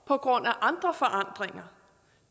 på grund af andre forandringer